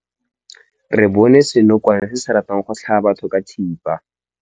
Re bone senokwane se se ratang go tlhaba batho ka thipa.